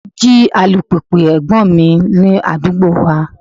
Wọ́n jí alùpùpù ẹ̀gbọ́n mi ní àdúgbò wa.